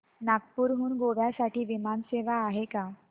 नागपूर हून गोव्या साठी विमान सेवा आहे का